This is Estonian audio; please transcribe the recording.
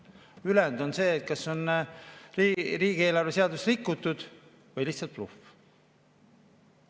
Ülejäänu on see, et kas on riigieelarve seadust rikutud või on lihtsalt bluff.